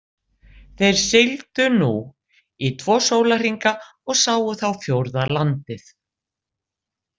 Þeir sigldu nú í tvo sólarhringa og sáu þá fjórða landið.